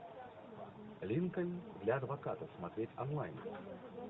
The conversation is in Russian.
линкольн для адвоката смотреть онлайн